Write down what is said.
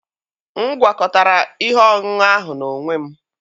M gwakọtara ihe ọṅụṅụ ahụ n'onwe m.